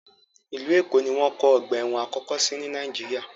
Ìlú Èkó ni wọ́n kọ́ ọ̀gba ẹ̀wọ̀n àkọ́kọ́ sí ní Nàìjíríà.